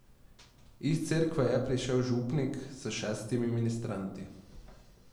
Iz cerkve je prišel župnik s šestimi ministranti.